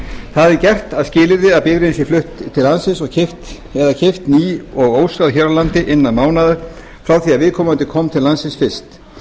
það er gert að skilyrði að bifreiðin sé flutt til landsins eða keypt ný og óskráð hér á landi innan mánaðar frá því að viðkomandi kom til landsins fyrst